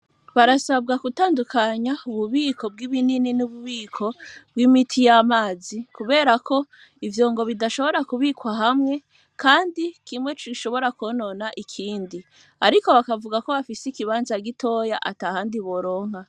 Barasabwa gutandukanya ububiko bw'ibinini n'ububiko bw'imiti y'amazi kuberako ivyo ngo bidashobora kubikwa hamwe, kandi kimweco gishobora konona ikindi, ariko bakavuga ko bafise ikibanza gitoya ata handi boronka.